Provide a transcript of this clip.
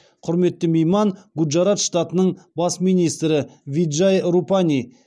құрметті мейман гуджарат штатының бас министрі виджай рупани